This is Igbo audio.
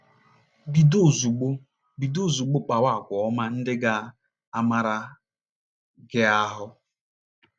Bido ozugbo Bido ozugbo kpawa àgwà ọma ndị ga - amara gị ahụ́.